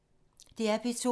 DR P2